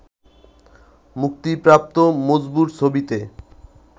মুক্তিপ্রাপ্ত মজবুর ছবিতে